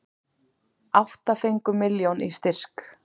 Átta fengu milljón í styrk